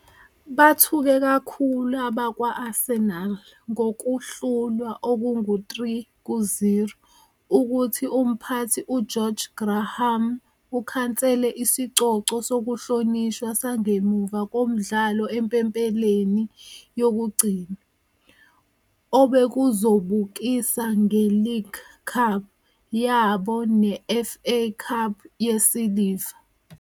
Bethuke kakhulu abakwa-Arsenal ngokuhlulwa okungu-3-0 ukuthi umphathi uGeorge Graham ukhansele isicoco sokuhlonishwa sangemuva komdlalo empempeleni yokugcina, obekuzobukisa nge-League Cup yabo ne-FA Cup yesiliva.